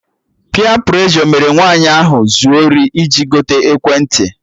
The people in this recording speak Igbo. Peer preshọ mere nwaanyị ahụ zuo ori iji gote ekwentị